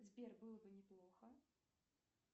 сбер было бы неплохо